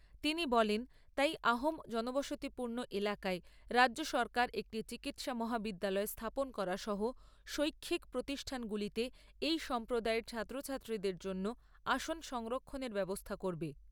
তিনি বলেন তাই আহোম জনবসতিপূর্ণ এলাকায় রাজ্য সরকার একটি চিকিৎসা মহাবিদ্যালয় স্থাপন করা সহ শৈক্ষিক প্রতিষ্ঠানগুলিতে এই সম্প্রদায়ের ছাত্র ছাত্রীদের জন্য আসন সংরক্ষনের ব্যবস্থা করবে।